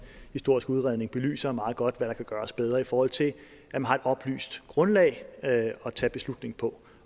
historiske udredning belyser meget godt hvad der kan gøres bedre i forhold til at man har et oplyst grundlag at tage beslutning på